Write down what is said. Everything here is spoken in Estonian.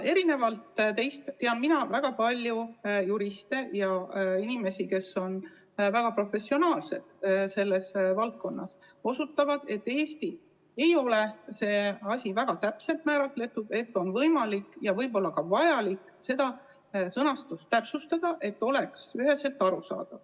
Erinevalt teist tean mina väga paljusid juriste ja teisi inimesi, kes on selles valdkonnas väga professionaalsed ja kes on osutanud, et Eestis ei ole see asi väga täpselt määratletud, mistõttu on võimalik ja võib-olla ka vajalik seda sõnastust täpsustada, et see oleks üheselt arusaadav.